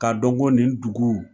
Ka dɔ ko nin dugu.